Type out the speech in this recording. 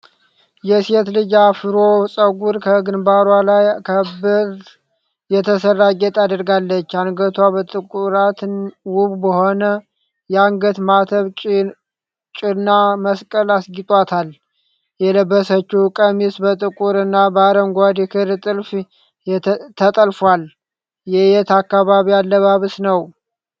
የሴት ልጅ አፍሮ ፀጉር ከግንባሯ ላይ ከብር የተሰራ ጌጥ አድርጋለች። አንገቷ በጥቁራት ዉብ በሆነ የአንገት ማተብ ጭና መስቀል አስጊጧታል። የለበሰችዉ ቀሚስ በጥቁር እና በአረንጓዴ ክር ጥልፍ ተጠልፏል። የየት አካባቢ አለባበስ ነዉ?